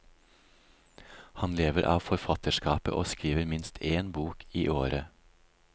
Han lever av forfatterskapet og skriver minst én bok i året.